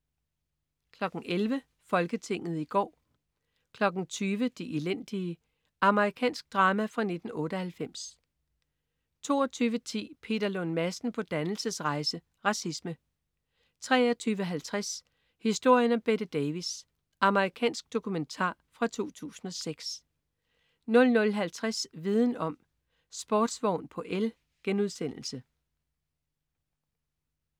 11.00 Folketinget i går 20.00 De elendige. Amerikansk drama fra 1998 22.10 Peter Lund Madsen på dannelsesrejse. Racisme 23.50 Historien om Bette Davis. Amerikansk dokumentar fra 2006 00.50 Viden om: Sportsvogn på el*